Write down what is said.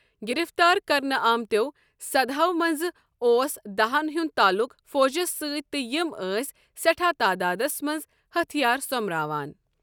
گرفتار کرنہٕ آمتٮ۪و سداہو منٛزٕ اوس دہن ہنٛد تعلق فوجس سٕتۍ تہٕ یم ٲسۍ سٮ۪ٹھاہ تعدادس منٛز ہتھیار سوٚمراوان۔